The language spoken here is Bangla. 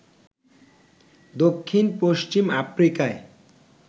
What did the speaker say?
দক্ষিণ পশ্চিম আফ্রিকায়